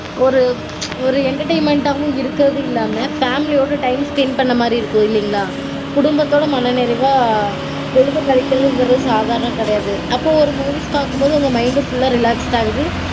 ஒரு entertainment -ஆவும் இருக்கறதில்லாம family -யோட time spend மாதிரியும் இருக்கும் இல்லைங்களா? குடும்பத்தோட மன நிறைவா பொழுத கழிக்கறதுங்கறது சாதாரணம் கெடையாது. அப்போ ஒரு movies பாக்கும்போது உங்க mind full -ஆ relax ஆகுது